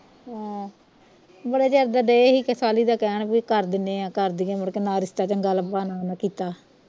ਹਾਂ ਬੜੇ ਚਿਰ ਦਾ ਦਏ ਹੀ ਦਾ ਕਹਿਣ ਬਈ ਕਰ ਦਿਨੇ ਆ ਕਰ ਦਈਏ ਮੁੜਕੇ ਨਾ ਰਿਸ਼ਤਾ ਚੰਗਾ ਲੱਬਾ ਨਾ ਉਨ੍ਹਾਂ ਕੀਤਾ